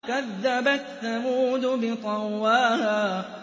كَذَّبَتْ ثَمُودُ بِطَغْوَاهَا